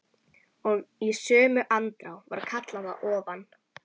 Og í sömu andrá var kallað að ofan.